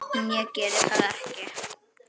En ég geri það ekki.